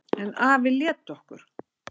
En afi lét okkur